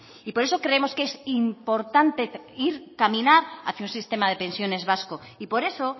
y por eso creemos que es importante caminar hacia un sistema de pensiones vasco y por eso